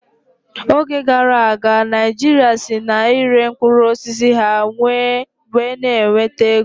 Oge gara aga, Naijiria si na ịre mkpụrụ osisi ha wee n'enweta ego